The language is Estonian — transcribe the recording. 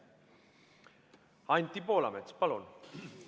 Anti Poolamets, palun!